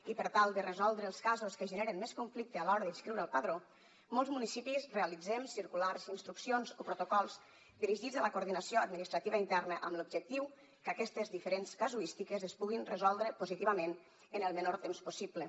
i per tal de resoldre els casos que generen més conflicte a l’hora d’inscriure al padró molts municipis realitzem circulars instruccions o protocols dirigits a la coordinació administrativa interna amb l’objectiu que aquestes diferents casuístiques es puguin resoldre positivament en el menor temps possible